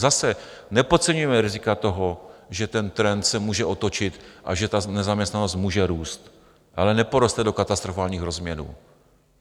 Zase, nepodceňujme rizika toho, že ten trend se může otočit a že ta nezaměstnanost může růst, ale neporoste do katastrofálních rozměrů.